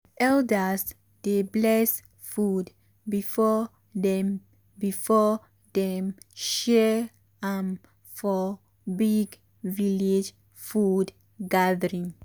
elders dey bless food before dem before dem share am for big village food gathering.